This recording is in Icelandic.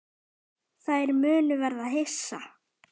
Þær munu verða hissa.